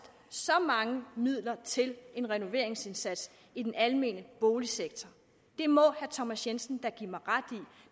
så mange midler til en renoveringsindsats i den almene boligsektor det må herre thomas jensen da give mig ret